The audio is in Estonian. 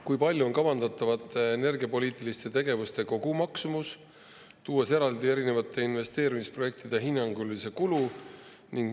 Kui suur on kavandatavate energiapoliitiliste tegevuste kogumaksumus, kusjuures tuleks eraldi välja tuua erinevate investeerimisprojektide hinnanguline kulu?